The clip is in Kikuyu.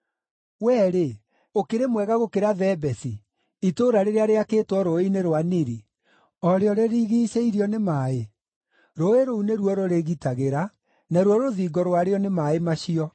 Wee-rĩ, ũkĩrĩ mwega gũkĩra Thebesi, itũũra rĩrĩa rĩakĩtwo Rũũĩ-inĩ rwa Nili, o rĩo rĩrigiicĩirio nĩ maaĩ? Rũũĩ rũu nĩruo rũrĩgitagĩra, naruo rũthingo rwarĩo nĩ maaĩ macio.